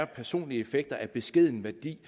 personlige effekter af beskeden værdi